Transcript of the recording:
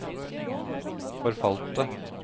forfalte